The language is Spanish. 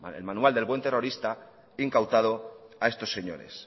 el manual del buen terrorista incautado a estos señores